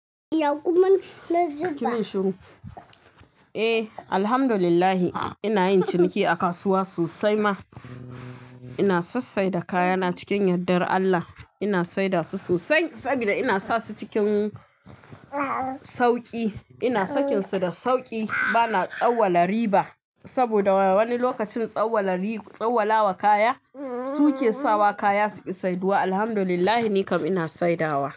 Eh, Alhamdulillah ina yin ciniki a kasuwa sosai ma. Ina sassai da kayana cikin yaddar Allah. Ina saida su sosai saboda ina sa su cikin sauƙi. Ina sakinsu da sauƙi bana tsawwala riba. Saboda wani lokacin tsawwala riba, tsawwalawa kaya suke sawa kaya suki saiduwa. Alhamdulillah nikam ina saidawa.